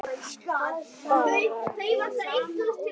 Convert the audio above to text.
Bara eftir eyranu.